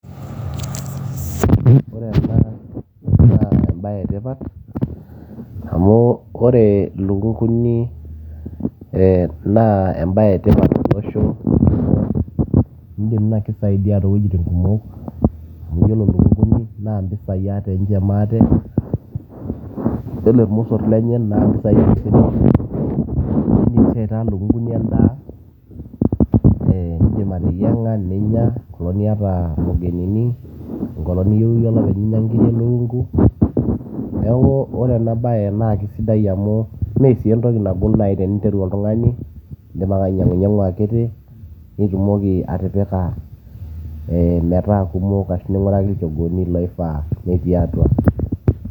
Ore ena naa embae etipat amu ore lukunguni e naa embae etipat oleng nakisaidia towuejitin kumok ,iyiolo lukunguni na mbisai nche maate yiolo irmosor lenye ate na mbisai ,indim aitaa lukunguni endaa ee indim ateyianga ninya enkolong niata wageninini enkolong niyieu iyie olepeny ninya nkirik elukungu neaku ore ena bae na kesidai amu mentoki nagol duo nai teneinteru oltungani ,indim ake ainyangunyangu akiti nitumoki atipika metaa kimok ashu atesheta metaa kumok arashu inguraki tenkoitoi naifaa apik atua.